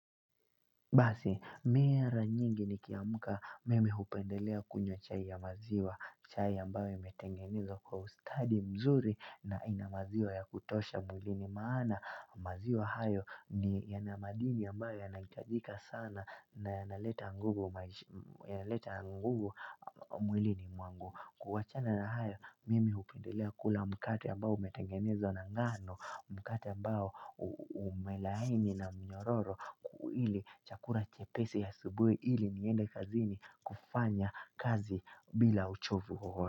Basi mimi mara nyingi nikiamka mimi hupendelea kunywa chai ya maziwa. Chai ambayo imetengenezwa kwa ustadi mzuri na ina maziwa ya kutosha mwilini maana maziwa hayo yana madini ambayo yanahitajika sana na yanaleta nguvu yanaleta nguvu mwilini mwangu. Kuwachana na hayo mimi hupendelea kula mkate ambao umetengenezwa na ngano. Mkate ambao umelaini na mnyororo ili chakula chepesi asubuhi ili niende kazini kufanya kazi bila uchovu wowote.